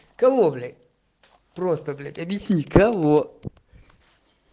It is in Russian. кого блять просто блять объясни кого